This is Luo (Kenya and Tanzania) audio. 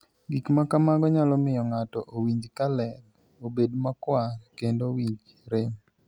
Gik ma kamago nyalo miyo ng'ato owinj ka ler, obed makwar, kendo owinj rem.